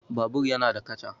Babur yana da kaca